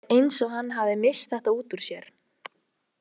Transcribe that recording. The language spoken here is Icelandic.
Það er eins og hann hafi misst þetta út úr sér.